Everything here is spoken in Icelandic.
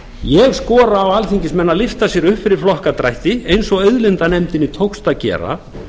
ég skora á alþingismenn að lyfta sér upp fyrir flokkadrætti eins og auðlindanefndinni tókst að gera